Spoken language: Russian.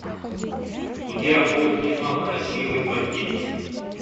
у тебя будет кино красивый бандит